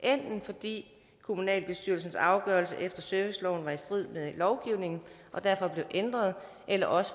enten fordi kommunalbestyrelsens afgørelse efter serviceloven var i strid med lovgivningen og derfor blev ændret eller også